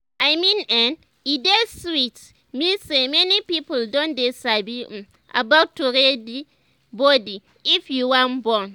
i mean[um]e dey sweet me say many people don dey sabi um about to ready body if you wan born